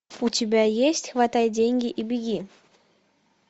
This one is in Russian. у тебя есть хватай деньги и беги